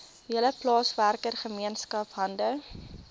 hele plaaswerkergemeenskap hande